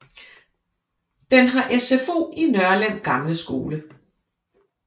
Den har SFO i Nørlem gamle skole